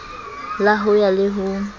la ho ya le ho